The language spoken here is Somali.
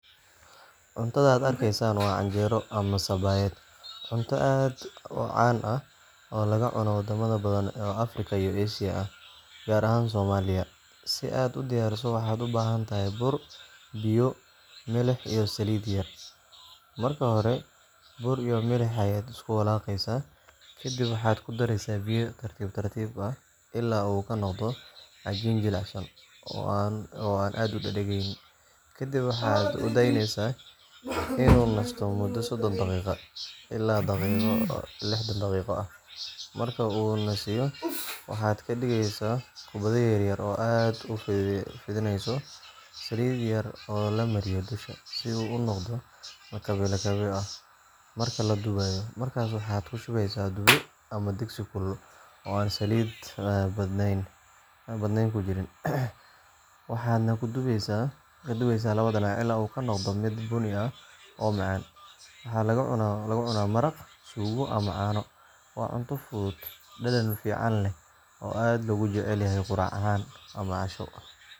Cuntadan aad arkaysaan waa canjeero ama sabaayad, cunto aad u caan ah oo laga cuno wadamo badan oo Afrika iyo Aasiya ah, gaar ahaan Soomaaliya. Si aad u diyaariso, waxaad u baahan tahay bur, biyo, milix, iyo saliid yar. Marka hore bur iyo milix ayaad isku walaaqaysaa, kadibna waxaad ku daraysaa biyo tartiib tartiib ah ilaa uu ka noqdo cajiin jilicsan oo aan aad u dhegdhegnayn. Kadib waxaad u daynaysaa inuu nasto muddo sodon ilaa lixdan daqiiqo ah. Marka uu nasiyo, waxaad ka dhigaysaa kubbado yaryar oo aad ku fidinayso saliid yar oo la mariyo dusha, si uu u noqdo lakabyo lakabyo ah marka la dubayo. Markaas waxaad ku shubaysaa dubbe ama digsi kulul oo aan saliid badnayn ku jirin, waxaadna ku dubaysaa labada dhinac ilaa uu ka noqdo mid bunni ah oo macaan. Waxaa lagu cunaa maraq, suugo, ama caano. Waa cunto fudud, dhadhan fiican leh, oo aad loogu jecel yahay quraac ahaan ama casho.